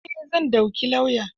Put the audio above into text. Eh, zan dauki lauya.